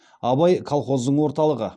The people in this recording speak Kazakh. абай колхоздың орталығы